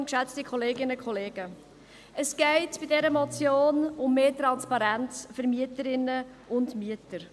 Es geht in dieser Motion um mehr Transparenz gegenüber Mieterinnen und Mietern.